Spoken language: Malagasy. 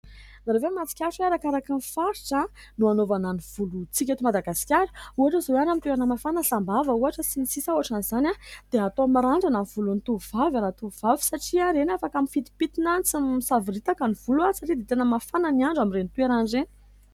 Ianareo ve mahatsikaritra fa hoe arakaraka ny faritra no anaovana ny volontsika eto Madagasikara ? Ohatra izao any amin'ny toerana mafana, Sambava ohatra sy ny sisa ohatran'izany, dia atao mirandrana ny volon'ny tovovavy raha tovovavy : satria ireny afaka mifintimpintina tsy misavoritaka ny volo, satria dia tena mafana ny andro amin'ireny toerana ireny.